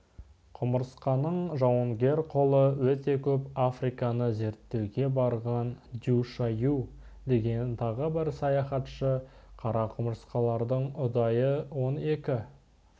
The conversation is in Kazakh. құмырсқаның жауынгер қолы өте көп африканы зерттеуге барған дю-шайю деген тағы бір саяхатшы қара құмырсқалардың ұдайы он екі